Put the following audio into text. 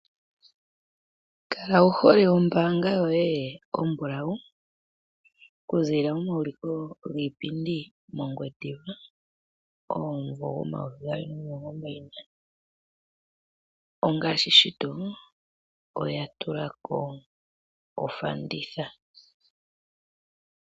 Kala wu hole ombaanga yoye ombulawu okuzilila momauliko giipindi mOngwediva omumvo omayovi gaali nomilongo mbali nane. Ongashi shito, oya tulako ofanditha.